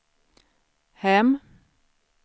hem